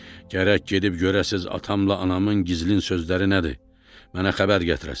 Gərək gedib görəsiz atamla, anamın gizlin sözləri nədir, mənə xəbər gətirəsiz.